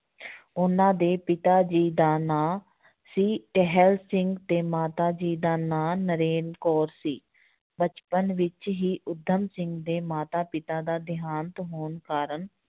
ਉਹਨਾਂ ਦੇ ਪਿਤਾ ਜੀ ਦਾ ਨਾਂ ਸੀ ਟਹਿਲ ਸਿੰਘ ਤੇ ਮਾਤਾ ਜੀ ਦਾ ਨਾਂ ਨਰੈਣ ਕੌਰ ਸੀ, ਬਚਪਨ ਵਿੱਚ ਹੀ ਊਧਮ ਸਿੰਘ ਦੇ ਮਾਤਾ ਪਿਤਾ ਦਾ ਦੇਹਾਂਤ ਹੋਣ ਕਾਰਨ